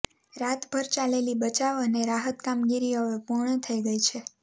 રાતભર ચાલેલી બચાવ અને રાહત કામગીરી હવે પૂર્ણ થઇ ગઇ છે